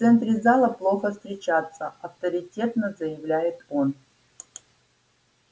в центре зала плохо встречаться авторитетно заявляет он